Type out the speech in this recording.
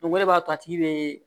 o de b'a to a tigi be